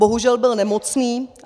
Bohužel by nemocný.